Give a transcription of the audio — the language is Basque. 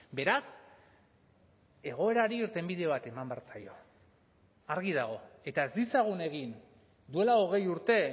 beraz egoerari irtenbide bat eman behar zaio argi dago eta ez ditzagun egin duela hogei urte